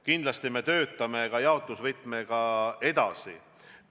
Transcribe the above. Kindlasti töötame me jaotusvõtmega edasi.